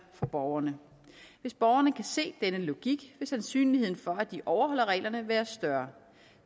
for borgerne hvis borgerne kan se denne logik vil sandsynligheden for at de overholder reglerne være større